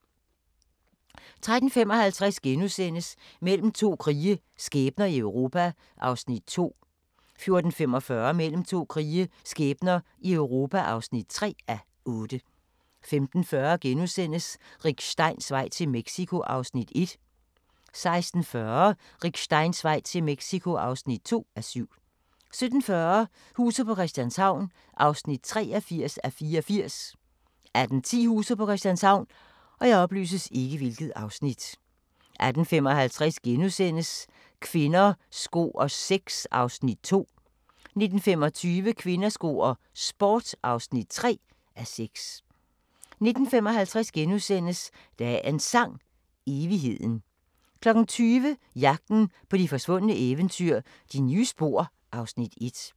13:55: Mellem to krige – skæbner i Europa (2:8)* 14:45: Mellem to krige – skæbner i Europa (3:8) 15:40: Rick Steins vej til Mexico (1:7)* 16:40: Rick Steins vej til Mexico (2:7) 17:40: Huset på Christianshavn (83:84) 18:10: Huset på Christianshavn 18:55: Kvinder, sko og sex (2:6)* 19:25: Kvinder, sko og sport (3:6) 19:55: Dagens Sang: Evigheden * 20:00: Jagten på de forsvundne eventyr – De nye spor (Afs. 1)